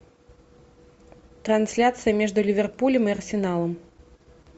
трансляция между ливерпулем и арсеналом